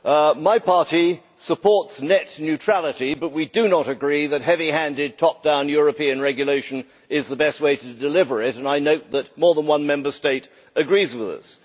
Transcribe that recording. Mr President, my party supports net neutrality but we do not agree that heavy handed top down European regulation is the best way to deliver it, and I note that more than one Member State agrees with us.